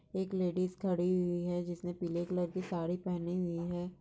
एक लेडीज़ खड़ी हुई है जिसने पीले कलर की साड़ी पेहनी हुई है।